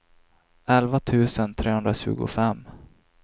elva tusen trehundratjugofem